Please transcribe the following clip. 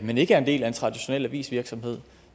men ikke er en del af en traditionel avisvirksomhed